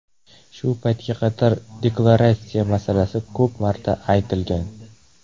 Shu paytga qadar deklaratsiya masalasi ko‘p marta aytilgan.